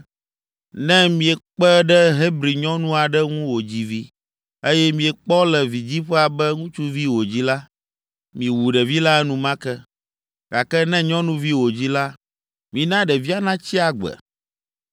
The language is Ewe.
“Ne miekpe ɖe Hebri nyɔnu aɖe ŋu wòdzi vi, eye miekpɔ le vidziƒea be ŋutsuvi wòdzi la, miwu ɖevi la enumake, gake ne nyɔnuvi wòdzi la, mina ɖevia natsi agbe.”